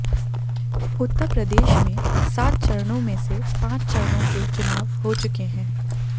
उत्तर प्रदेश में सात चरणों में से पांच चरणों के चुनाव हो चुके हैं